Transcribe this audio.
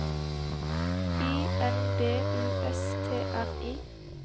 I N D U S T R I